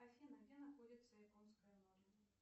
афина где находится японское море